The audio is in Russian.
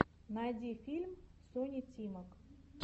найди фильм сони тимак